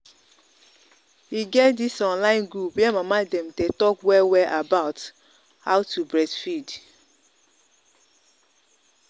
e get this online group where mama dem day talk well well about about how to breastfeed